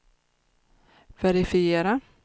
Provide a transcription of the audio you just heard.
verifiera